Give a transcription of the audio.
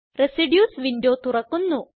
residues window തുറക്കുന്നു